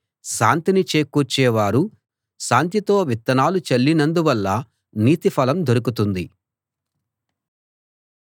శాంతిని చేకూర్చేవారు శాంతితో విత్తనాలు చల్లినందువల్ల నీతి ఫలం దొరుకుతుంది